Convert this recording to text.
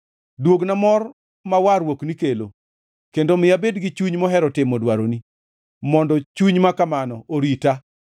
Duogna mor ma warruokni kelo kendo mi abed gi chuny mohero timo dwaroni, mondo chuny makamano orita.